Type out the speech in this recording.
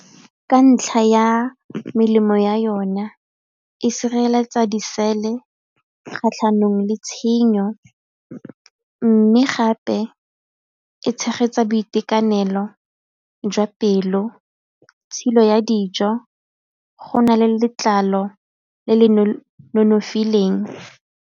Ka ntlha ya melemo ya yona, e sireletsa disele kgatlhanong le tshenyo mme gape e tshegetsa boitekanelo jwa pelo, tshilo ya dijo, go na le letlalo le le nonofileng.